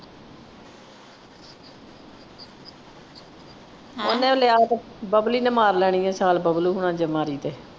ਹੈਂ ਉਹਨੇ ਲਿਆ ਤੇ ਬਬਲੀ ਨੇ ਮਾਰ ਲੈਣੀ ਆ ਸ਼ਾਲ ਬਬਲੂ ਹੋਣਾ ਚ ਮਾਰੀ ਤੇ।